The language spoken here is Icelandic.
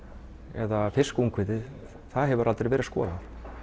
eða fiskungviðið það hefur aldrei verið skoðað